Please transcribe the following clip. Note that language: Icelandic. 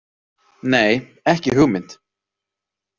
Nei, ekki hugmynd